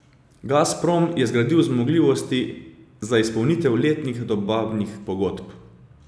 Gazprom je zgradil zmogljivosti za izpolnitev letnih dobavnih pogodb.